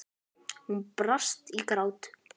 Hún brast í grát.